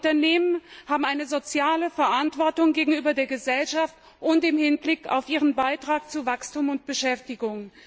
Denn Unternehmen haben eine soziale Verantwortung gegenüber der Gesellschaft und im Hinblick auf ihren Beitrag zu Wachstum und Beschäftigung.